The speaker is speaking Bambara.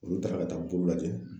Olu taara ka taa bolo lajɛ